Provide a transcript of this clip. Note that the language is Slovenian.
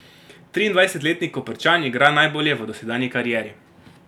Triindvajsetletni Koprčan igra najbolje v dosedanji karieri.